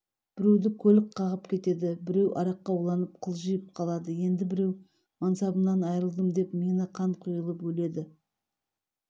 біреуді көлік қағып кетеді біреу араққа уланып қылжиып қалады енді біреу мансабымнан айрылдым деп миына қан құйылып өледі